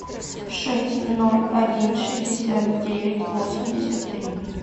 шесть ноль один шестьдесят девять восемьдесят три